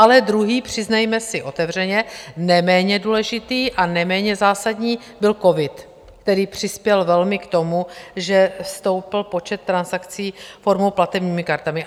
Ale druhý, přiznejme si otevřeně, neméně důležitý a neméně zásadní, byl covid, který přispěl velmi k tomu, že stoupl počet transakcí formou platebními kartami.